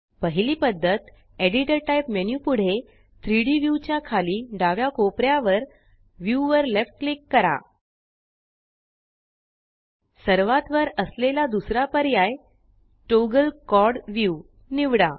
पहिली पद्धत editor type menu पुढे 3Dव्यू च्या खाली डाव्या कोपऱ्यावर व्ह्यू वर लेफ्ट क्लिक करा सर्वात वर असलेला दुसरा पर्याय टॉगल क्वाड व्ह्यू निवडा